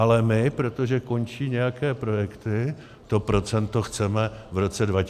Ale my, protože končí nějaké projekty, to procento chceme v roce 2021 snižovat.